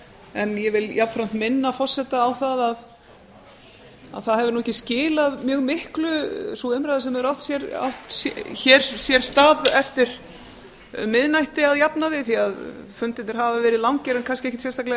en ég vil jafnframt minna forseta á að sú umræða sem hefur sér hér stað eftir miðnætti hefur ekki skilað mjög miklu að jafnaði fundirnir hafa verið langir en kannski ekkert sérstaklega